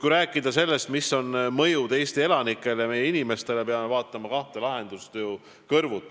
Kui rääkida sellest, milline on protsessi mõju Eesti elanikele, meie inimestele, siis peame vaatama kahte võimalikku lahendust.